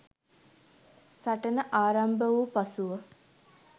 සටන ආරම්භ වූ පසුව